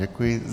Děkuji.